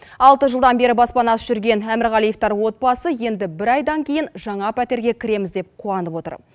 алты жылдан бері баспанасыз жүрген әмірғалиевтар отбасы енді бір айдан кейін жаңа пәтерге кіреміз деп қуанып отыр